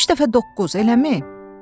Üç dəfə doqquz, eləmi?